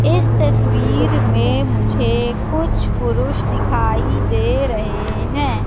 इस तस्वीर में मुझे कुछ पुरुष दिखाई दे रहे है।